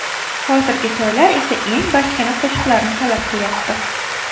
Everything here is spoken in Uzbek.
Hozirgi to‘ylar esa eng bachkana qo‘shiqlarni talab qilyapti .